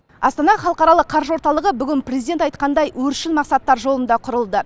астана халықаралық қаржы орталығы бүгін президент айтқандай өршіл мақсаттар жолында құрылды